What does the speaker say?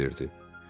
Kral cavab verdi.